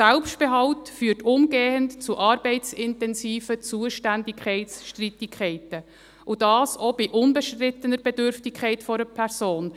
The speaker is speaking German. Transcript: Ein Selbstbehalt führt umgehend zu arbeitsintensiven Zuständigkeitsstreitigkeiten, und dies auch bei einer unbestrittenen Bedürftigkeit einer Person.